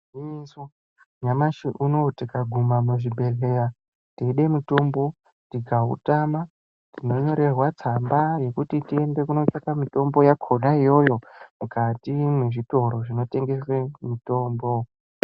Igwinyiso nyamashi unowu tikaguma muzvibhedhleya, teide mitombo tikautama, tinonyorerwa tsamba yekuti tiende kotsvaka mitombo yakhona iyoyo, mukati mwezvitoro zvinotengese mitombo .